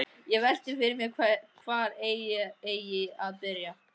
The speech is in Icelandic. Og velti fyrir mér hvar eigi að byrja.